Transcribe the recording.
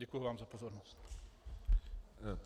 Děkuji vám za pozornost.